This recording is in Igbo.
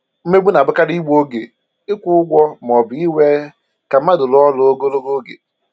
Mmegbu na-abụkarị igbu oge ịkwụ ụgwọ ma ọ bụ iwè ka mmadụ rụọ ọrụ ogologo oge